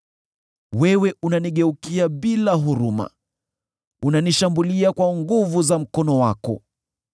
Wewe unanigeukia bila huruma; unanishambulia kwa nguvu za mkono wako.